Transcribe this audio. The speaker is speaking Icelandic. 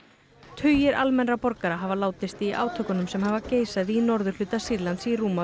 tugir almennra borgara hafa látist í átökunum sem hafa geisað í norðurhluta Sýrlands í rúma